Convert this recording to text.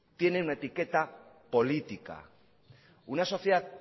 tienen una etiqueta política una sociedad